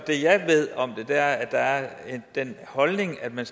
det jeg ved om det er den holdning at man